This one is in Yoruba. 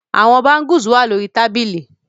The shoes are in the carton